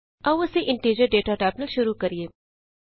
ਆਉ ਅਸੀਂ integer data type ਨਾਲ ਸ਼ੁਰੂ ਕਰੀਏ